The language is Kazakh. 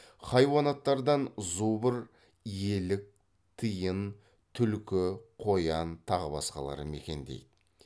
хайуанаттардан зубр елік тиін түлкі қоян тағы басқалары мекендейді